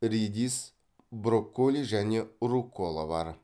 редис брокколи және руккола бар